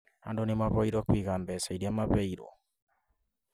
Andũ nĩ mahoirwo kuiga mbeca iria maneirwo